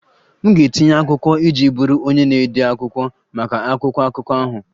M ga-etinye akwụkwọ iji bụrụ onye na-ede akwụkwọ maka akwụkwọ akụkọ ahụ